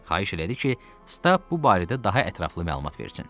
Xahiş elədi ki, Stab bu barədə daha ətraflı məlumat versin.